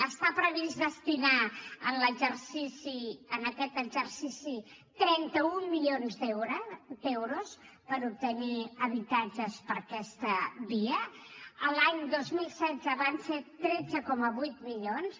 està previst destinar en aquest exercici trenta un milions d’euros per obtenir habitatges per aquesta via l’any dos mil setze van ser tretze coma vuit milions